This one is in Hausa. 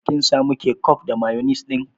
Kin samu kecof da mayonis ɗin?